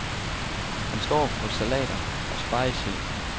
Han står for salater og spegesild.